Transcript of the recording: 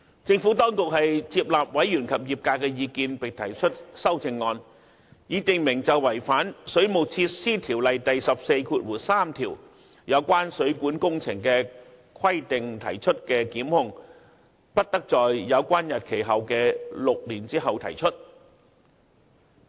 政府當局接納委員及業界的意見，並提出修正案，以訂明就違反《水務設施條例》第143條有關水管工程的規定而提出的檢控，不得在有關日期後的6年後提出。